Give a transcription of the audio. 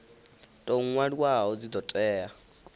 tou nwaliwaho dzi do tea